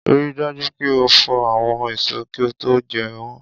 Rí dájú pé o fò àwọn èso kí ó tó jẹ́ wọ́n